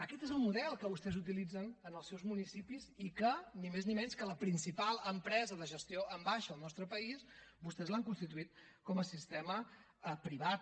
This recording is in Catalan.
aquest és el model que vostès utilitzen en els seus municipis i que ni més ni menys que la principal empresa de gestió en baixa al nostre país vostès l’han constituït com a sistema privat